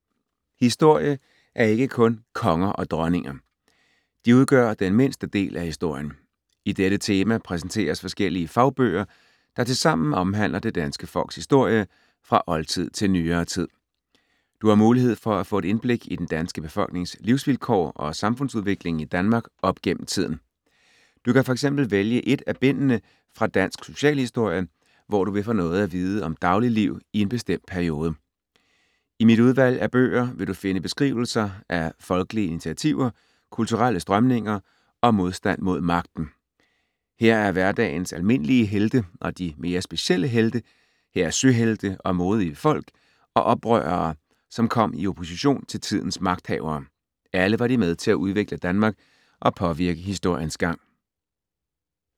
Historie er ikke kun konger og dronninger. De udgør den mindste del af historien. I dette tema præsenteres forskellige fagbøger, der tilsammen omhandler det danske folks historie fra oldtid til nyere tid. Du har mulighed for at få et indblik i den danske befolknings livsvilkår og samfundsudviklingen i Danmark op gennem tiden. Du kan f.eks. vælge ét af bindene fra Dansk Socialhistorie, hvor du vil få noget at vide om dagligliv i en bestemt periode. I mit udvalg af bøger vil du finde beskrivelser af folkelige initiativer, kulturelle strømninger og modstand mod magten. Her er hverdagens almindelige helte og de mere specielle helte, her er søhelte og modige folk og oprørere, som kom i opposition til tidens magthavere. Alle var de med til at udvikle Danmark og påvirke historiens gang.